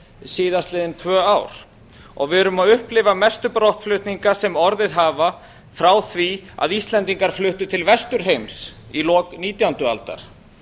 síðastliðin tvö ár og við erum að upplifa mestu brottflutninga sem orðið hafa frá því að íslendingar fluttu til vesturheims í lok nítjándu aldar